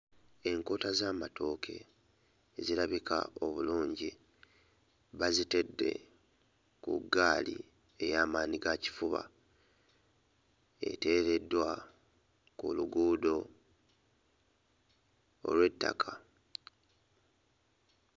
Enkota z'amatooke ezirabika obulungi bazitedde ku ggaali eya maanyi ga kifuba, eteereddwa ku luguudo olw'ettaka